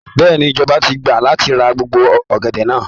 Bẹ́ẹ̀ni, ìjọba ti gbà láti ra gbogbo ọ̀gẹ̀dẹ̀ náà.